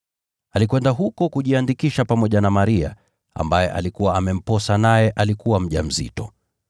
Alikwenda huko kujiandikisha pamoja na Maria, ambaye alikuwa amemposa naye alikuwa mjamzito.